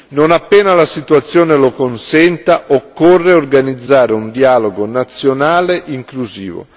Non appena la situazione lo consenta, occorre organizzare un dialogo nazionale inclusivo.